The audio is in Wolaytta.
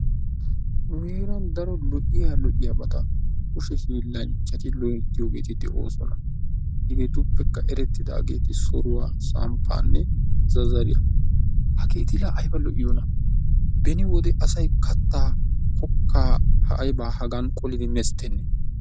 Nu heeran daro lo"iya lo"iyabata kushe hiillanchchati loyttoogeeti de"oosona. Hegeetuppekka erettidaageeti soruwa, samppaanne zazzariya. Hageeti la ayba lo"iyonaa beni wode asayi kattaa kokkaa aybaa Hagan qolidi mesttennee.